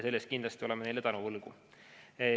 Selle eest oleme kindlasti neile tänu võlgu.